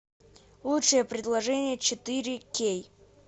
лучшее предложение четыре кей